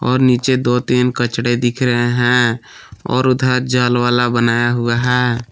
और नीचे दो तीन कचड़े दिख रहे हैं और उधर जल वाला बनाया हुआ है।